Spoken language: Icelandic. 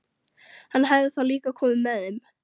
Hann hefði þá líka komið með þeim.